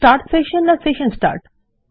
start session না session start